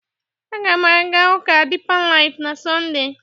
Aga m aga ụka Dipa laif na Sọnde.